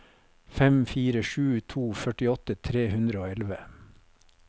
fem fire sju to førtiåtte tre hundre og elleve